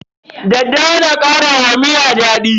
Daddawa na kara wa miya daɗi.